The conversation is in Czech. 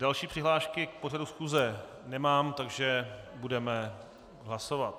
Další přihlášky k pořadu schůze nemám, takže budeme hlasovat.